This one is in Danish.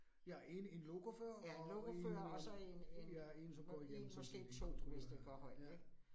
Ja 1 1 lokofører, og 1 øh, ja 1, som går igennem måske en kontrollør. Ja